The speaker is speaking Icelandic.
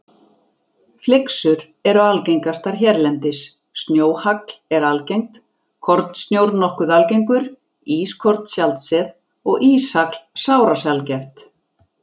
Flyksur eru algengastar hérlendis, snjóhagl er algengt, kornsnjór nokkuð algengur, ískorn sjaldséð og íshagl sárasjaldgæft.